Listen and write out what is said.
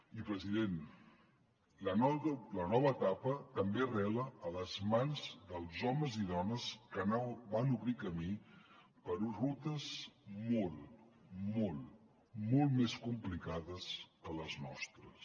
i president la nova etapa també arrela a les mans dels homes i dones que van obrir camí per rutes molt molt molt més complicades que les nostres